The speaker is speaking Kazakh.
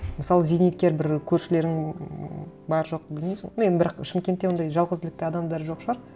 мысалы зейнеткер бір көршілерің ммм бар жоқ білмейміз ғой ну енді бірақ шымкентте ондай жалғыздылықты адамдар жоқ шығар